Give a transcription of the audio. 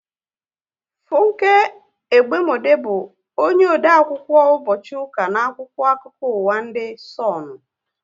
Funke Egbemode bụ onye ode akwụkwọ ụbọchị ụka n' akwụkwọ akụkọ ụwa ndị Sonu